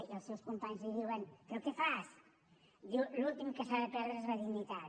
i els seus companys li diuen però què fas diu l’últim que s’ha de perdre és la dignitat